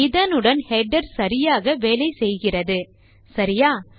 இதனுடன் ஹெடர் சரியாக வேலை செய்கிறது சரியா